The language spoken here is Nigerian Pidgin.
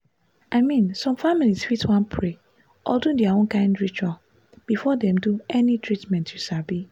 i mean some families fit wan pray or do their own kind ritual before dem do any treatment you sabi.